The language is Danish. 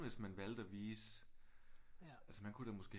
Hvis man valgte at vise altså man kunne da måske